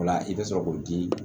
O la i bɛ sɔrɔ k'o di